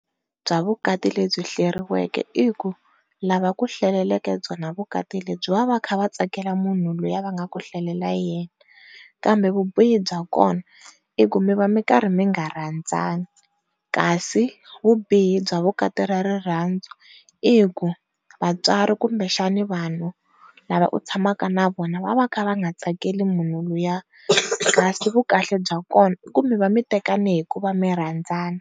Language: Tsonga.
Bya vukati lebyi hleriweke i ku lava va ku hlaleleke byona vukati lebyi va va va karhi va tsakela munhu loyi va nga ku hlalelela yena, kambe vubihi bya kona i ku mi va mi karhi mi nga rhandzani. Kasi vubihi bya vukati ra rirhandzu i ku vatswari kumbe xana vanhu lava u tshamaka na vona va va kha va nga tsakela munhu luya kasi vu kahle bya kona ku mi va mi tekane hikuva mi rhandzana.